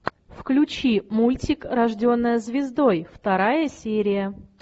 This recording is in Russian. включи мультик рожденная звездой вторая серия